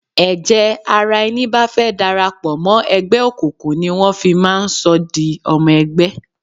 Ẹ̀jẹ̀ ara ẹni bá fẹ́ darapo mọ́ ẹgbẹ́ òkùnkùn ni wọ́n fi máa ń sọ di ọmọ ẹgbẹ́.